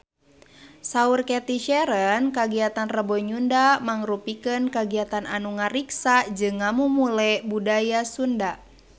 Saur Cathy Sharon kagiatan Rebo Nyunda mangrupikeun kagiatan anu ngariksa jeung ngamumule budaya Sunda